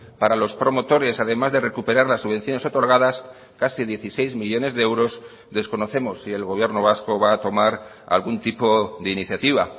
para los promotores además de recuperar las subvenciones otorgadas casi dieciséis millónes de euros desconocemos si el gobierno vasco va a tomar algún tipo de iniciativa